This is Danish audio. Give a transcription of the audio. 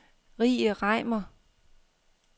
Rie Reimer